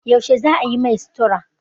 Yaushe za a yi mai sutura?